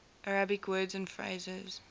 arabic words and phrases